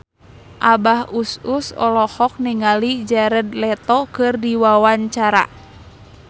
Abah Us Us olohok ningali Jared Leto keur diwawancara